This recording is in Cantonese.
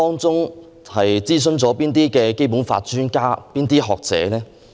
諮詢了哪位《基本法》專家和學者？